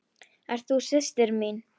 Ert þú systir mín?